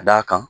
Ka d'a kan